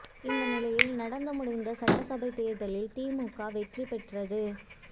இந்த நிலையில் நடந்து முடிந்த சட்டசபை தேர்தலில் திமுக வெற்றி பெற்றது